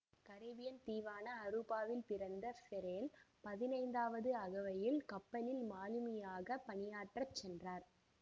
Caribbean தீவான அருபாவில் பிறந்த ஃபாரெல் பதினைந்தாவது அகவையில் கப்பலில் மாலுமியாகப் பணியாற்றச் சென்ரார்